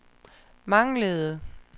manglede